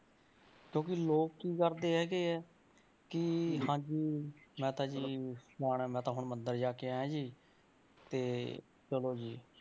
ਕਿਉਂਕਿ ਲੋਕ ਕੀ ਕਰਦੇ ਹੈਗੇ ਹੈ ਕਿ ਹਾਂਜੀ ਮੈਂ ਤਾਂ ਜੀ ਫਲਾਣੇ ਮੈਂ ਤਾਂ ਹੁਣ ਮੰਦਰ ਜਾ ਕੇ ਆਇਆਂ ਜੀ ਤੇ ਚਲੋ ਜੀ।